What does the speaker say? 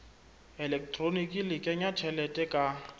elektroniki le kenya tjhelete ka